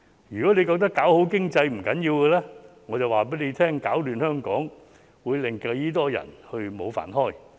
如果他覺得搞好經濟是不要緊的，我就告訴他攪亂香港會令多少人失業。